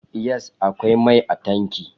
Yes, akwai mai a tankin